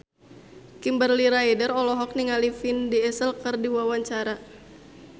Kimberly Ryder olohok ningali Vin Diesel keur diwawancara